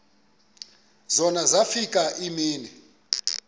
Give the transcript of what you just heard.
zona zafika iimini